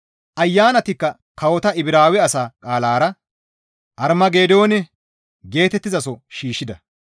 Ayanatikka kawota Ibraawe asa qaalara, «Armageedoone» geetettizaso shiishshida.